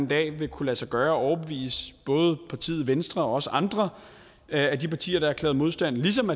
dag vil kunne lade sig gøre at overbevise både partiet venstre og også andre af de partier der har erklæret modstand ligesom